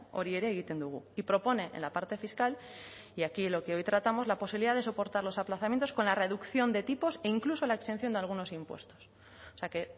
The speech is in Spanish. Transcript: hori ere egiten dugu y propone en la parte fiscal y aquí lo que hoy tratamos la posibilidad de soportar los aplazamientos con la reducción de tipos e incluso la exención de algunos impuestos o sea que